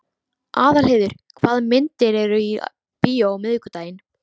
Aðalheiður, hvaða myndir eru í bíó á miðvikudaginn?